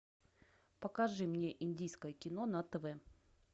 покажи мне индийское кино на тв